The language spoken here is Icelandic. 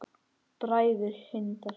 Bræður Hindar